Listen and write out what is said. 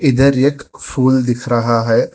इधर एक फूल दिख रहा है।